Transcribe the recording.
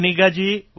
કન્નિગાજી